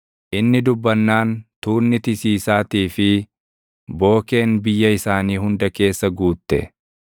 Inni dubbannaan tuunni tisiisaatii fi bookeen biyya isaanii hunda keessa guutte.